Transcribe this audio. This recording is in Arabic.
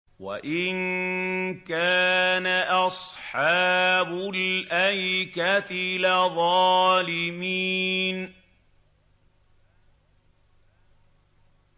وَإِن كَانَ أَصْحَابُ الْأَيْكَةِ لَظَالِمِينَ